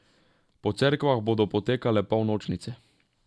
Po cerkvah bodo potekale polnočnice.